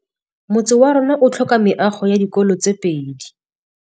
Motse warona o tlhoka meago ya dikolô tse pedi.